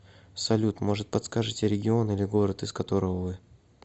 салют может подскажите регион или город из которого вы